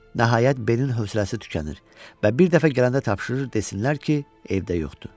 Nəhayət, Beyin hövsələsi tükənir və bir dəfə gələndə tapşırır desinlər ki, evdə yoxdur.